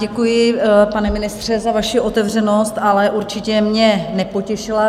Děkuji, pane ministře, za vaši otevřenost, ale určitě mě nepotěšila.